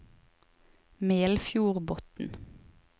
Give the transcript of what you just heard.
Melfjordbotn